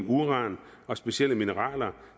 uran og specielle mineraler